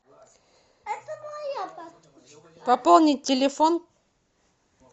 пополнить телефон